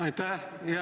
Aitäh!